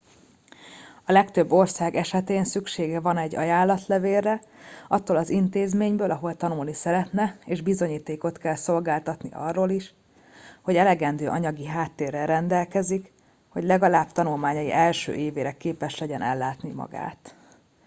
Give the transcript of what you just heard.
a legtöbb ország esetén szüksége van egy ajánlatlevélre attól az intézményből ahol tanulni szeretne és bizonyítékot kell szolgáltatni arról is hogy elegendő anyagi háttérrel rendelkezik hogy legalább tanulmányai első évére képes legyen ellátni magát